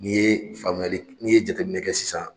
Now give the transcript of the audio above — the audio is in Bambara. N'i ye faamuyali, n'i ye jateminɛ kɛ sisan.